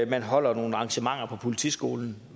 man holder nogle arrangementer på politiskolen